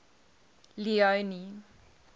leone